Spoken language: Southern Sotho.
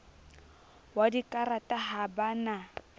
wa dikarata ha ba na